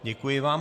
Děkuji vám.